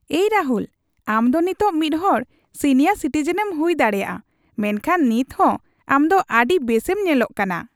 ᱮᱭ ᱨᱟᱦᱩᱞ, ᱟᱢ ᱫᱚ ᱱᱤᱛᱚᱜ ᱢᱤᱫᱦᱚᱲ ᱥᱤᱱᱤᱭᱟᱨ ᱥᱤᱴᱤᱡᱮᱱᱮᱢ ᱦᱩᱭ ᱫᱟᱲᱮᱭᱟᱜᱼᱟ, ᱢᱮᱱᱠᱷᱟᱱ ᱱᱤᱛ ᱦᱚᱸ ᱟᱢ ᱫᱚ ᱟᱹᱰᱤ ᱵᱮᱥᱮᱢ ᱧᱮᱞᱚᱜ ᱠᱟᱱᱟ ᱾